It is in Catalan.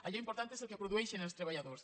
allò important és el que produeixen els treballadors